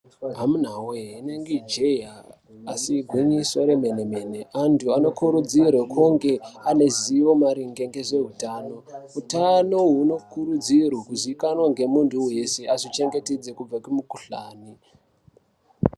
Amunawee rinenge jee asi igwinyiso remene mene antu anokurudzirwa kuti ange ane ruzivo maringe ngezveutano. Utano hunokurudzirwe kuzikanwa ngemuntu weshe azvichengetedze kubva kumukhuhlani.